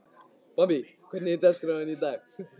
Bambi, hvernig er dagskráin í dag?